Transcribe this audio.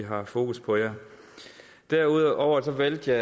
har fokus på jer derudover valgte jeg